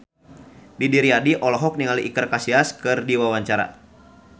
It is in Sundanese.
Didi Riyadi olohok ningali Iker Casillas keur diwawancara